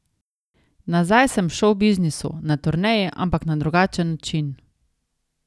Nazaj sem v šovbiznisu, na turneji, ampak na drugačen način.